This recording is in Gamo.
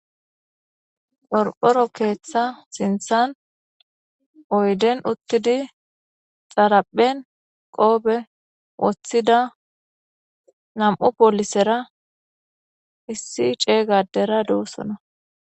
Qorqqoro keeththa sinththan oyden uttidi xaraphen qoope woththida nam7u poolisera issi ceega addera doosona.